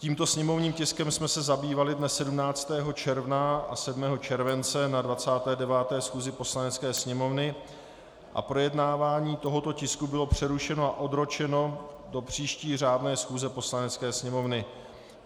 Tímto sněmovním tiskem jsem se zabývali dne 17. června a 7. července na 29. schůzi Poslanecké sněmovny a projednávání tohoto tisku bylo přerušeno a odročeno do příští řádné schůze Poslanecké sněmovny.